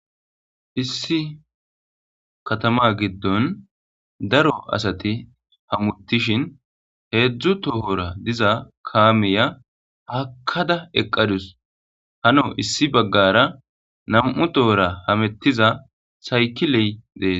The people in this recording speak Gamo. Issi katama giddon daro asati hamutishin heedzdzu tohora diza kaamiya hakkada eqqadus hano issi baggara nam7u tohora hamettiza sayki ley dees.